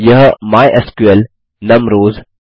यह माइस्क्ल नुम रॉस